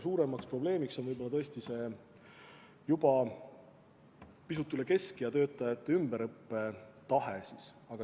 Suurem probleem on võib-olla tõesti see juba pisut üle keskea töötajate ümberõppetahe.